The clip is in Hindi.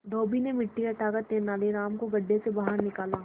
धोबी ने मिट्टी हटाकर तेनालीराम को गड्ढे से बाहर निकाला